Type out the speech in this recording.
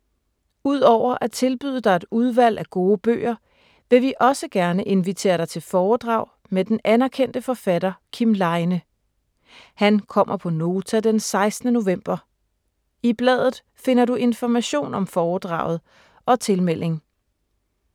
Udover at tilbyde dig et udvalg af gode bøger, vil vi også gerne invitere dig til foredrag med den anerkendte forfatter Kim Leine. Han kommer på Nota den 16. november. I bladet finder du information om foredraget og tilmelding.